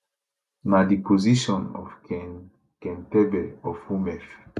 na di position of ken kentebe of homef